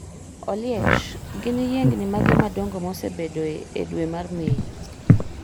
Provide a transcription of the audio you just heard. Oliech gin yiengni mage madongo mosebedoe e dwe mar Mei